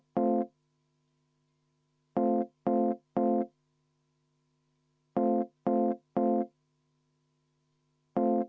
Aitäh, austatud esimees!